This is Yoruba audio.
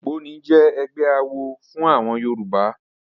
Ògbóni jẹ́ ẹgbẹ́ awo fún àwọn Yorùbá.